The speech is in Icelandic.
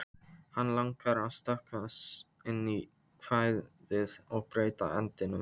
Hann langar að stökkva inn í kvæðið og breyta endinum.